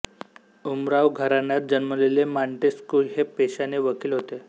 उमराव घराण्यात जन्मलेले मॅान्टेस्क्यू हे पेशाने वकील होते